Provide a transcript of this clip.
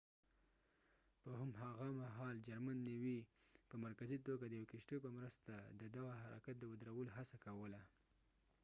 په هم هغه مهال جرمن نېوي په مرکزي توګه د یو کشتیو په مرسته د دغه حرکت د ودرولو هڅه کوله